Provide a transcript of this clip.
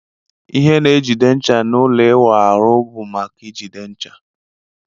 Ihe na ejide ncha n'ụlọ iwụ ahụ bu maka ijide ncha.